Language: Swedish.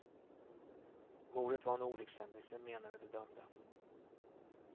Mordet var en olyckshändelse, menade de dömda.